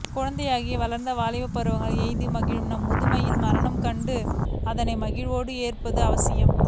குழந்தையாகி வளர்ந்து வாலிப பருவம் எய்தி மகிழும் நாம் முதுமையில் மரணம் கண்டும் அதனை மகிழ்வோடு ஏற்பது அவசியம்